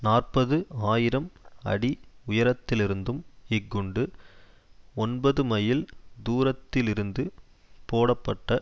நாற்பது ஆயிரம் அடி உயரத்திலிருந்தும் இக்குண்டு ஒன்பதுமைல் தூரத்திலிருந்து போடப்பட்ட